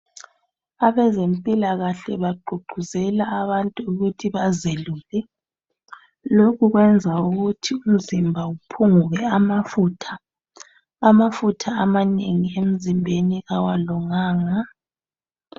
Abezempilakahle bagqugquzela abantu ukuthi bazelule. Lokhu kwenza ukuthi umzimba uphunguke amafutha. Amafutha amanengi emzimbeni awalunganga.